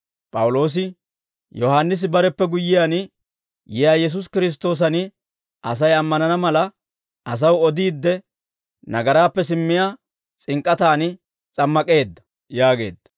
P'awuloosi, «Yohaannisi bareppe guyyiyaan yiyaa Yesuusi Kiristtoosan Asay ammanana mala, asaw odiidde, nagaraappe simmiyaa s'ink'k'ataani s'ammak'eedda» yaageedda.